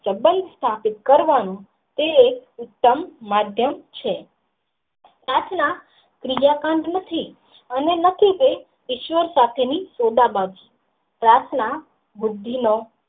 સબંધ સાબિત કરવાનું તે ઉત્તમ માધ્યમ છે પ્રાર્થના ત્રીજા કાંડ નથી અને નથી તે ઈશ્વર સાથે ની ઓબા બાજી પ્રાર્થના બુદ્ધિ નો.